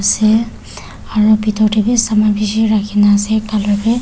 ase aro bitor de b saman bishi rakhi na ase color de.